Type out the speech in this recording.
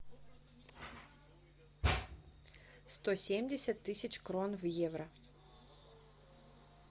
сто семьдесят тысяч крон в евро